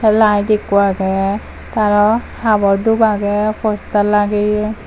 te light ekku agey te aro habor dhup agey poster lageyi.